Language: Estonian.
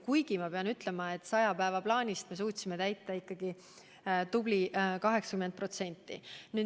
Kuid ma pean ütlema, et saja päeva plaanist suutsime täita ikkagi tubli 80%.